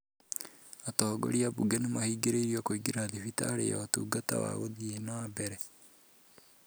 Atongoria a Bunge nĩ mahingĩrĩirio kũingĩra thibitarĩ ya Ũtungata wa Gũthiĩ na Mbere.